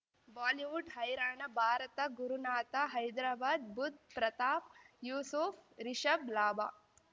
Bollywood ಹೈರಾಣ ಭಾರತ ಗುರುನಾಥ ಹೈದರಾಬಾದ್ ಬುಧ್ ಪ್ರತಾಪ್ ಯೂಸುಫ್ ರಿಷಬ್ ಲಾಭ